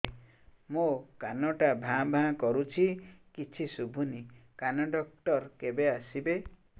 ମୋ କାନ ଟା ଭାଁ ଭାଁ କରୁଛି କିଛି ଶୁଭୁନି କାନ ଡକ୍ଟର କେବେ ଆସିବେ